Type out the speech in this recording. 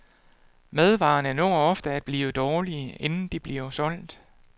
Madvarerne når ofte at blive dårlige, inden de bliver solgt.